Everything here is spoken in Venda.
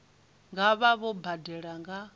nga vha vho badela nga